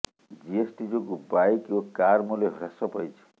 GST ଯୋଗୁଁ bike ଓ car ମୂଲ୍ୟ ହ୍ରାସ ପାଇଛି